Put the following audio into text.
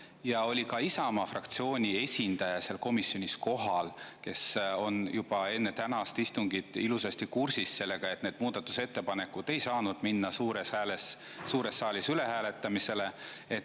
Ja ka Isamaa fraktsiooni esindaja oli seal komisjonis kohal, ta oli juba enne tänast istungit ilusasti kursis sellega, et need muudatusettepanekud ei saa minna suures saalis ülehääletamisele.